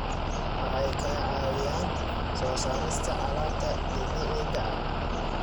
Waxay ka caawiyaan soo saarista alaabta dabiiciga ah.